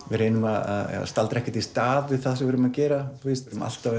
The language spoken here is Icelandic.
við reynum að staldra ekki í stað við það sem við erum að gera erum alltaf